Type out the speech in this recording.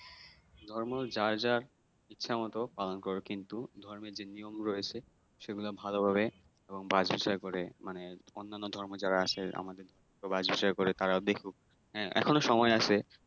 ধর্ম যার যার ইচ্ছামত পালন করা কিন্তু ধর্মের যে নিয়ম রয়েছে সেগুলা ভালোভাবে এবং বাচ-বিচার করে মানে অন্যান্য ধর্ম যারা আছে আমাদের তো বাচ বিচার করে তারা দেখুক হ্যাঁ এখনো সময় আছে